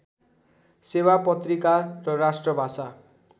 सेवा पत्रिका र राष्ट्रभाषा